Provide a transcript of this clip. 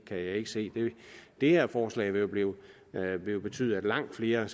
jeg ikke se det her forslag vil jo betyde at langt flere end